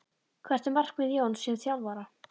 Hvert er markmið Jóns sem þjálfara?